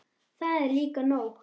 Það er líka nóg.